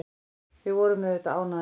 Við vorum auðvitað ánægðir.